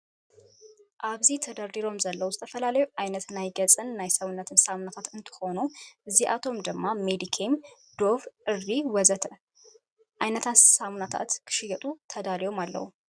ኣብዚ ተደርዲሮም ዘለው ዝተፈላለዩ ዓይነታት ናይ ገፅን ናይ ሰውነትን ሳሙናታት እንትኮኑ እዚኣቶም ድማ ሜዲኬም፣ ዶቭ፣ ዕርዲ ወዘተ.... ዓይነታት ሳምናታት ክሽየጡ ተዳልዮም አለው ።